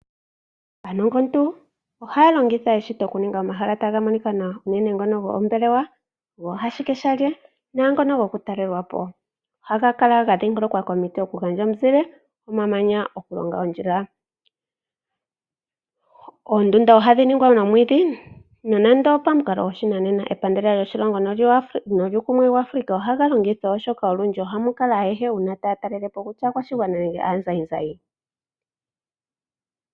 Aanongontu ohaya longitha eshito, opo ya ninge omahala ga kale taga monika nawa unene ngono goombelewa, gooashikeshalye naangono hokutalelwa po. Ohaga kala ga dhingolokwa komiti opo dhi gandje omuzile nomamanya gokulonga ondjila. Oondunda dhi ningwa nomwiidhi pamukalo goshinanena. Epandela lyoshilongo nolyuukumwe waAfrika ohaga longithwa, oshoka olundji ohamu kala aantu ayehe uuna taya talele po, kutya aakwashigwana nenge aazayizayi.